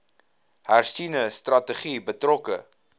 hersiene strategie betrokke